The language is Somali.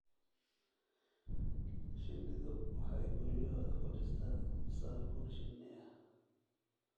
Shinnidu waxay guryahooda ku dhistaa saabuun shinni ah.